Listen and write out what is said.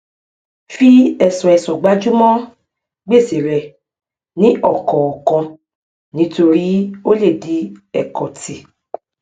fi ẹsọẹsọ gbájúmọ gbèsè rẹ ní ọkọọkan nítorí ó lè di ẹkọtì